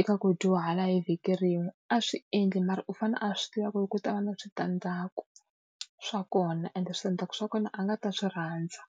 eka ku dyuhala hi vhiki rin'we, a swi endli mara u fanele a swi tiva ku ri ku ta va na switandzhaku swa kona. Ende switandzhaku swa kona a nga ta swi rhandza.